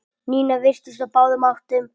Nína virtist á báðum áttum.